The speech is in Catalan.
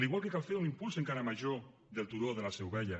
igual que cal fer un impuls encara major del turó de la seu vella